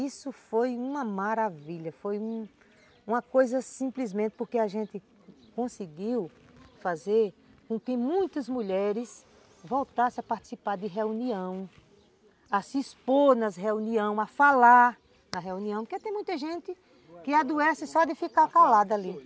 Isso foi uma maravilha, foi uma uma coisa simplesmente porque a gente conseguiu fazer com que muitas mulheres voltassem a participar de reunião, a se expor nas reuniões, a falar na reunião, porque tem muita gente que adoece só de ficar calada ali.